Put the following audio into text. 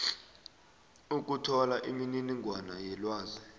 ukuthola imininingwana yelwazi